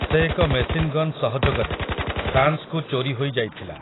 ସେ ଏକ ମେସିନଗନ୍ ସହଯୋଗରେ, ଫ୍ରାନ୍ସକୁ ଚୋରୀ ହୋଇ ଯାଇଥିଲା ।